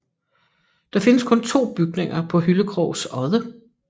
Der findes kun to bygninger på Hyllekrogs odde